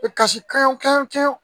E kasi kan wo kelen